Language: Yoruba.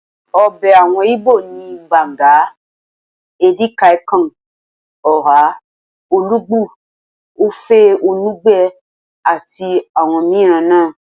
Ọbẹ̀ àwọn igbó ni, banga, edi kai Kong, oha, olugbu, ofe enugbe àti àwọn mìíràn náà